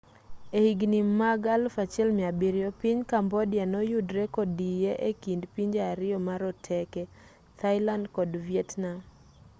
e higni mag 1700 piny cambodia noyudre kodiye ekind pinje ariyo maroteke thailand kod vietnam